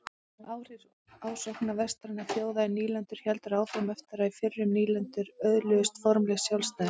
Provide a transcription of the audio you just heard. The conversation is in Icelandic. Áhrif ásóknar vestrænna þjóða í nýlendur héldu áfram eftir að fyrrum nýlendur öðluðust formlegt sjálfstæði.